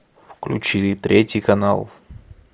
включи третий канал